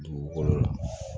Dugukolo la